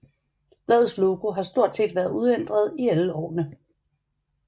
Bladets logo har stort set været uændret i alle årene